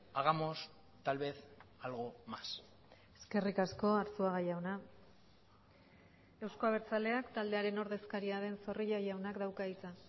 hagamos tal vez algo más eskerrik asko arzuaga jauna euzko abertzaleak taldearen ordezkaria den zorrilla jaunak dauka hitza